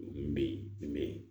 Nin bɛ ye nin bɛ yen